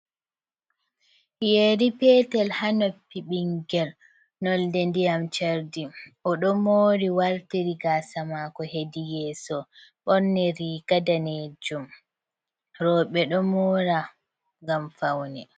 "Yeri" petel ha noppi bingel nolde ndiyam chardi o do mori wartiri gasa mako hedi yeeso ɓorni riga danejum roɓe ɗo mora ngam faune.